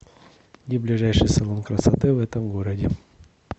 где ближайший салон красоты в этом городе